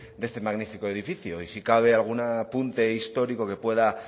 de este de este magnífico edificio y si cabe algún apunte histórico que pueda